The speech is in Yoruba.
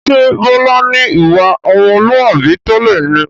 Ṣé Bọlá ni ìwà ọmọlúwàbí tẹ́lẹ̀ ni?